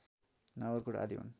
नगरकोट आदि हुन्